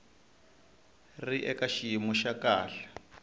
ri eka xiyimo xa kahle